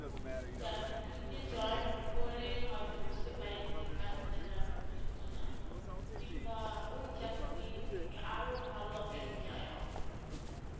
চাকরিতে join করে হয়তো বুঝতে পারে যে কাজটা তার উপযুক্ত না, কিংবা ওই চাকরি থেকে আরো ভালো option চায় অর্থ উপার্জনের।